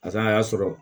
A fana y'a sɔrɔ